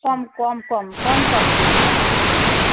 কম কম কম কম তেল ব্যবহার করবে।